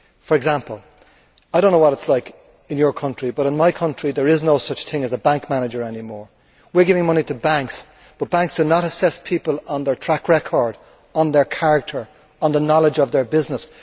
For example, I do not know what it is like in your country, but in my country, there is no such thing as a bank manager any more. We are giving money to banks, but banks do not assess people on their track record, on their character and on the knowledge of their business.